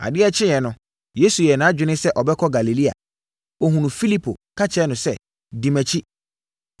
Adeɛ kyeeɛ no, Yesu yɛɛ nʼadwene sɛ ɔbɛkɔ Galilea. Ɔhunuu Filipo ka kyerɛɛ no sɛ, “Di mʼakyi.”